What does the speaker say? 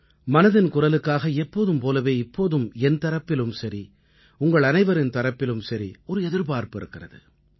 மனதின் குரலுக்காக எப்போதும் போலவே இப்போதும் என் தரப்பிலும் சரி உங்களனைவரின் தரப்பிலும் சரி ஒரு எதிர்பார்ப்பு இருக்கிறது